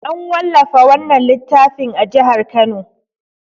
An wallafa wannan littafin a jihar Kano.